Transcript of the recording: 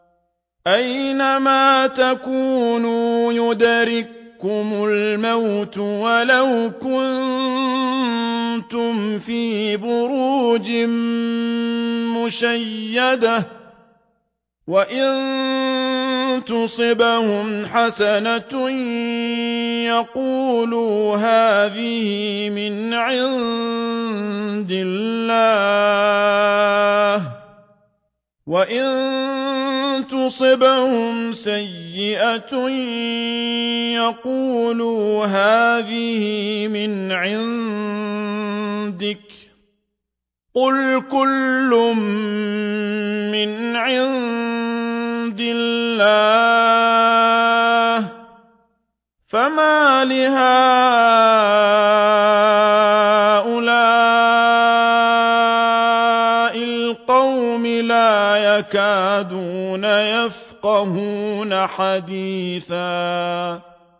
أَيْنَمَا تَكُونُوا يُدْرِككُّمُ الْمَوْتُ وَلَوْ كُنتُمْ فِي بُرُوجٍ مُّشَيَّدَةٍ ۗ وَإِن تُصِبْهُمْ حَسَنَةٌ يَقُولُوا هَٰذِهِ مِنْ عِندِ اللَّهِ ۖ وَإِن تُصِبْهُمْ سَيِّئَةٌ يَقُولُوا هَٰذِهِ مِنْ عِندِكَ ۚ قُلْ كُلٌّ مِّنْ عِندِ اللَّهِ ۖ فَمَالِ هَٰؤُلَاءِ الْقَوْمِ لَا يَكَادُونَ يَفْقَهُونَ حَدِيثًا